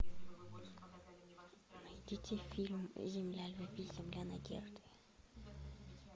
найдите фильм земля любви земля надежды